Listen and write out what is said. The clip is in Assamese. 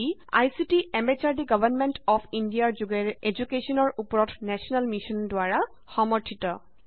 E ICT MHRD government of ইণ্ডিয়াৰ যোগেৰে এদুকেশ্যনৰ উপৰত নেশ্যনেল মিচন দ্বাৰা সমৰ্থিত